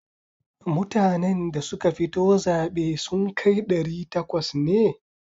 Mutanen da suka fito zaɓe sun kai ɗari takwas ne?